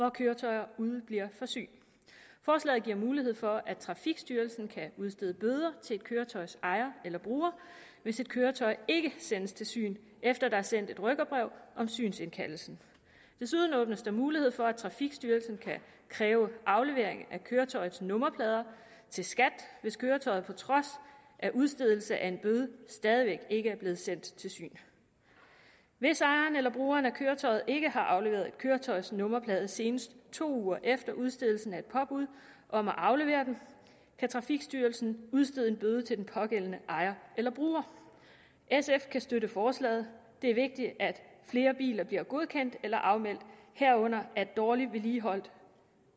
af køretøjer udebliver fra syn forslaget giver mulighed for at trafikstyrelsen kan udstede bøder til et køretøjs ejer eller bruger hvis et køretøj ikke sendes til syn efter at der er sendt et rykkerbrev om synsindkaldelsen desuden åbnes der mulighed for at trafikstyrelsen kan kræve aflevering af køretøjets nummerplader til skat hvis køretøjet på trods af udstedelse af en bøde stadig væk ikke er blevet sendt til syn hvis ejeren eller brugeren af køretøjet ikke har afleveret et køretøjs nummerplader senest to uger efter udstedelsen af et påbud om at aflevere dem kan trafikstyrelsen udstede en bøde til den pågældende ejer eller bruger sf kan støtte forslaget det er vigtigt at flere biler bliver godkendt eller afmeldt herunder at dårligt vedligeholdte